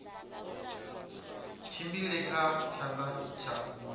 tshimbile kha tshanḓa tsha u